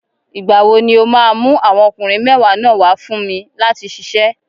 Ìgbà wo ni o máa mú àwọn ọkùnrin mẹ́wàá náà wà á fún mi láti ṣiṣẹ́?